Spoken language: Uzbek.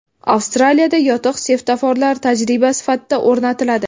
Avstraliyada yotiq svetoforlar tajriba sifatida o‘rnatiladi.